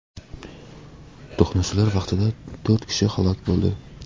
To‘qnashuvlar vaqtida to‘rt kishi halok bo‘ldi .